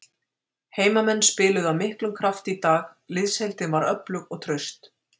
Heimamenn spiluðu af miklum krafti í dag, liðsheildin var öflug og traust.